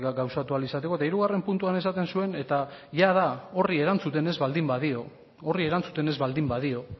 gauzatu ahal izateko eta hirugarren puntuan esaten zuen eta jada horri erantzuten ez baldin badio horri erantzuten ez baldin badio